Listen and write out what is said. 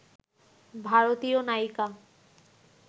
ভারতীয় নায়িকা